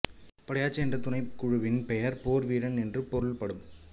படையாச்சி என்ற துணைக்குழுவின் பெயர் போர் வீரன் என்று பொருள்படும்